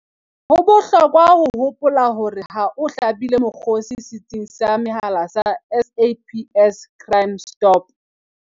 Ho bohlokwa ho hopola hore ha o hlabile mokgosi setsing sa mehala sa SAPS Crime Stop